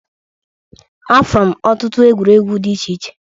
Afụlụ m ọtụtụ egwuregwu dị iche iche.